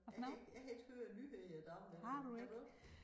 Jeg kan ikke jeg kan ikke høre nyheder i dag længere kan du?